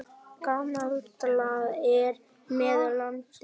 Gamblað er með landið.